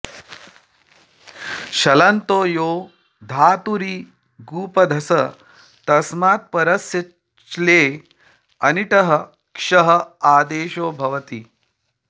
शलन्तो यो धातुरिगुपधस् तस्मात् परस्य च्लेः अनिटः क्ष आदेशो भवति